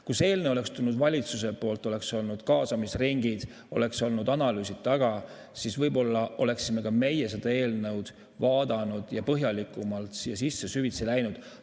Kui see eelnõu oleks tulnud valitsuse poolt, oleks olnud kaasamisringid, oleks olnud analüüsid, ja siis võib-olla oleksime ka meie seda eelnõu vaadanud ja põhjalikumalt sellesse süvitsi sisse läinud.